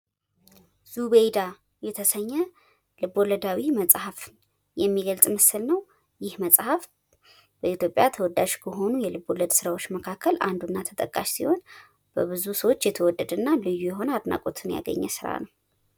ዱቤይዳ የተሰኘ ልቦለዳዊ መፅሀፍ የሚገልፅ ምስል ነው። ይህ መፅሀፍ በኢትዮጵያ ተወዳጅ ከሆኑ የልቦለድ ስራዎች መካከል አንዱና ተጠቃሽ ሲሆን። በብዙ ሰዎች የተወደደና ልዩ የሆነ አድናቆትን ያገኘ ስራ ነው።